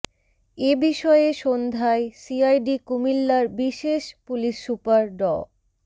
এ বিষয়ে সন্ধ্যায় সিআইডি কুমিল্লার বিশেষ পুলিশ সুপার ড